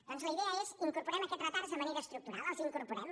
doncs la idea és incorporem aquests retards de manera estructural els incorporem